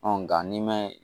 nga n'i ma